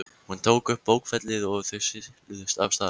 Hún tók upp bókfellið og þau siluðust af stað.